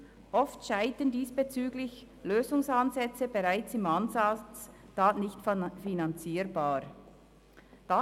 Oft scheitern diesbezüglich Lösungsansätze bereits im Ansatz, da sie nicht finanzierbar sind.